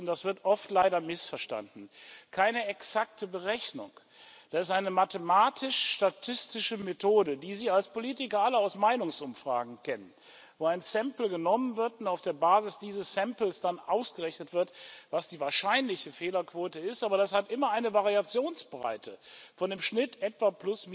Das ist und das wird oft leider missverstanden keine exakte Berechnung, das ist eine mathematisch statistische Methode, die Sie als Politiker alle aus Meinungsumfragen kennen, wo eine Stichprobe genommen wird, und auf dieser Basis dann ausgerechnet wird, was die wahrscheinliche Fehlerquote ist. Aber das hat immer eine Variationsbreite von im Schnitt etwa